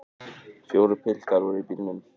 Fjórir piltar voru í bílnum.